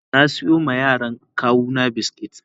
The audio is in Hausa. na siyo ma yaran kawuna biskit.